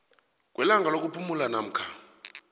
kwelanga lokuphumula namkha